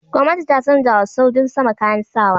Gwamnati ta canjawa sojin sama kayan sa wa.